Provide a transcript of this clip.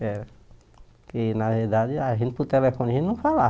É porque, na verdade, a gente, por telefone, a gente não falava.